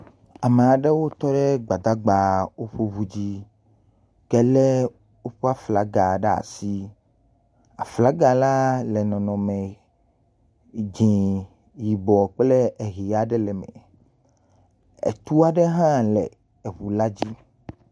Ame aɖewo tɔ ɖe gbadagbawo ƒe ŋu dzi , ke lé woƒe aflaga ɖe asi, aflaga la le nɔnɔme dze, yibɔ kple ʋe aɖe le eme, etu aɖe hã le eŋu la dzi.